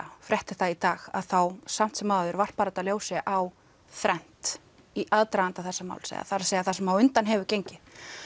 frétt þetta í dag þá samt sem áður varpar þetta ljósi á þrennt í aðdraganda þessa máls eða það er það sem á undan hefur gengið